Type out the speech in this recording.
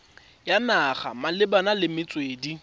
ya naga malebana le metswedi